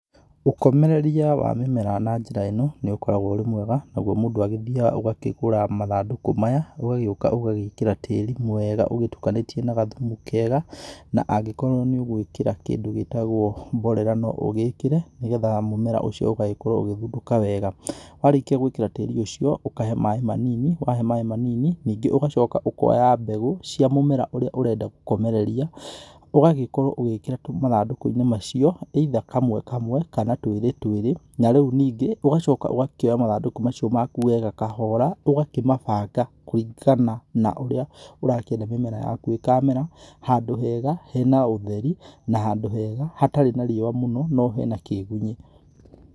Ũkomereria wa mĩmera na njĩra ĩno, nĩ ũkoragwo ũrĩ mwega, nagwo mũndũ agĩthiaga ũgakĩgũra mathandũkũ maya ũgagĩũka ũgagĩkĩra tĩri mwega ũgĩtukanĩtie na gathumu kega, na angĩkorwo nĩ ũgũĩkĩra kĩndũ gĩtagwo mborera no ũgĩkĩre nĩgetha mũmera ũcio ũgagĩkorwo ũgĩthundũka wega. Warĩkia gwĩkĩra tĩri ũcio ũkahe maaĩ manini, wahe maaĩ manini ningĩ ũgacoka ũkoya mbegũ cia mũmera ũrĩa ũrenda gũkomereria, ũgagĩkorwo ũgĩkĩra tu mathandũkũ-inĩ macio either kamwe kamwe kana twĩrĩ twĩrĩ, na rĩu ningĩ ũgacoka ũgakĩoya mathandũkũ macio maku wega kahora, ũgakĩmabanga kũringana na ũrĩa ũrakĩenda mĩmera yaku ĩkamera, handũ hega hena ũtheri, na handũ hega hatarĩ na riũa mũno no hena kĩgunyi.